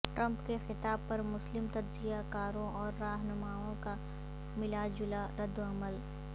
Trump کے خطاب پر مسلم تجزیہ کاروں اور راہنماوں کا ملا جلا ردعمل